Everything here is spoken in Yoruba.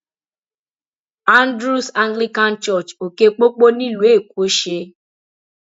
andrews anglican church òkè pópó nílùú èkó ṣe